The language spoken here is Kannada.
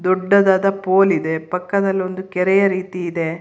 ದೊಡ್ಡದಾದ ಪೋಲಿದೆ ಪಕ್ಕದಲ್ಲೊಂದು ಕೆರೆಯ ರೀತಿ ಇದೆ.